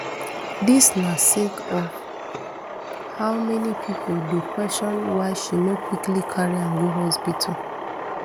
dis na sake of how many pipo dey question why she no quickly carry am go hospital